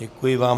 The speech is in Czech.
Děkuji vám.